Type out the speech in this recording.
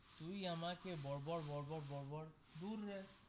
তুই আমাকে বর বর বর বর বর বর দূর রে.